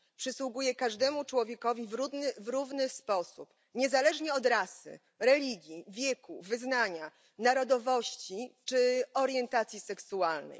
Przysługuje każdemu człowiekowi w równy sposób, niezależnie od rasy, religii, wieku, wyznania, narodowości czy orientacji seksualnej.